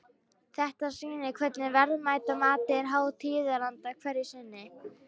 Þetta sýnir hvernig verðmætamatið er háð tíðaranda hverju sinni.